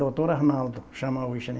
Doutor Arnaldo chama hoje, né?